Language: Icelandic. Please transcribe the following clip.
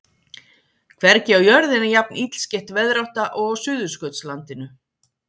Hvergi á jörðinni er jafn illskeytt veðrátta og á Suðurskautslandinu.